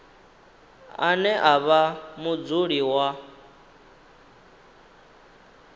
ane a vha mudzuli wa